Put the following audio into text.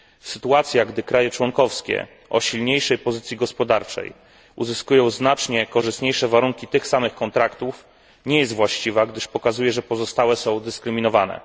Sytuacja, gdy kraje członkowskie o silniejszej pozycji gospodarczej uzyskują znacznie korzystniejsze warunki tych samych kontraktów nie jest właściwa, gdyż pokazuje, że pozostałe są dyskryminowane.